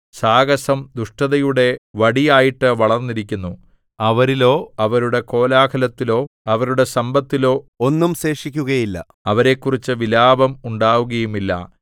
സാഹസം ദുഷ്ടതയുടെ വടിയായിട്ടു വളർന്നിരിക്കുന്നു അവരിലോ അവരുടെ കോലാഹലത്തിലോ അവരുടെ സമ്പത്തിലോ ഒന്നും ശേഷിക്കുകയില്ല അവരെക്കുറിച്ചു വിലാപം ഉണ്ടാകുകയുമില്ല